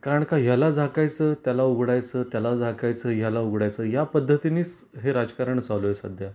कारण का याला झाकायच, त्याला उघडायच, त्याला झाकायच, याला उघडायच, या पद्धतीनेच हे राजकारण चालू आहे सध्या.